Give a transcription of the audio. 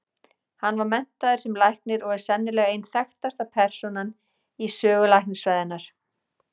Hann var menntaður sem læknir og er sennilega ein þekktasta persónan í sögu læknisfræðinnar.